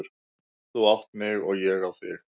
Þú átt mig og ég á þig.